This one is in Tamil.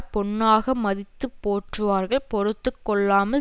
பொன்னாக மதித்து போற்றுவார்கள் பொறுத்து கொள்ளாமல்